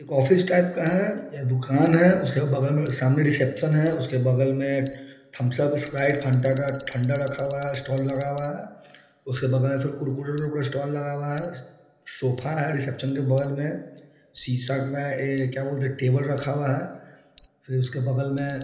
एक office type का है ये दूकान है उसके बगल में सामने रिसेप्शन है उसके बगल में थम्स अप स्प्राइट फांटा का ठंडा रखा हुआ है स्टॉल लगा हुआ है उसके बगल में फिर कुरकुरे का पूरा स्टाल लगा हुआ है सोफा है रिसेप्शन के बगल में शीशा का ये क्या बोलते हैं टेबल रखा हुआ है फिर उसके बगल में --